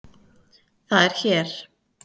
Það er hér.